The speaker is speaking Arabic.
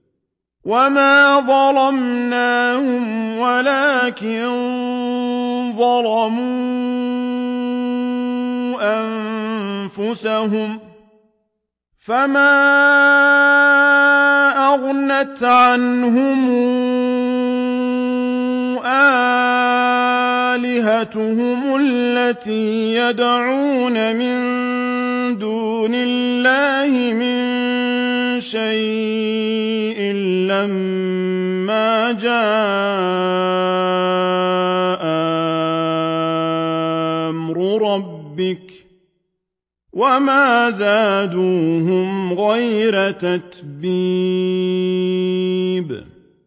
وَمَا ظَلَمْنَاهُمْ وَلَٰكِن ظَلَمُوا أَنفُسَهُمْ ۖ فَمَا أَغْنَتْ عَنْهُمْ آلِهَتُهُمُ الَّتِي يَدْعُونَ مِن دُونِ اللَّهِ مِن شَيْءٍ لَّمَّا جَاءَ أَمْرُ رَبِّكَ ۖ وَمَا زَادُوهُمْ غَيْرَ تَتْبِيبٍ